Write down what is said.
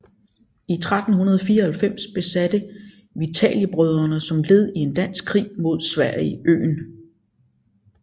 I 1394 besatte Vitaliebrødrene som led i en dansk krig mod Sverige øen